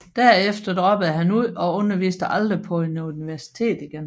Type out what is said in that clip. Derefter droppede han ud og underviste aldrig på et universitet igen